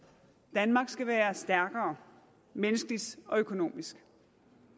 danmark skal være stærkere menneskeligt og økonomisk